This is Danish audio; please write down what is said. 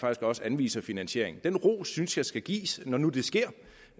også anviser finansiering den ros synes jeg skal gives når nu det sker